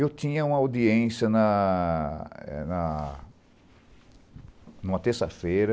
Eu tinha uma audiência na eh na na terça-feira.